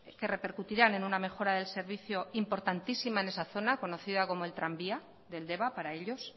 que repercutirán en una mejora del servicio importantísima en esa zona conocida como el tranvía del deba para ellos